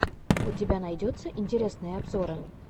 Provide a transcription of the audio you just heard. у тебя найдется интересные обзоры